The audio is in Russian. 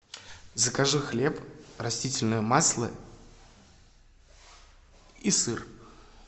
закажи хлеб растительное масло и сыр